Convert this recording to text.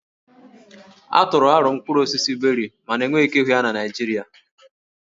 A tụrụ aro mkpụrụ osisi Beri mana enweghị ike ịhụ ya na Naịjirịa